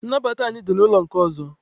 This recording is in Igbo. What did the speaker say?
Nnabata anyị dị n'ụlọ nke ọzọ.